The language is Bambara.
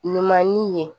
Ɲuman ni ye